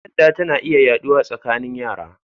Kyanda tana iya yaɗawa tsakanin yara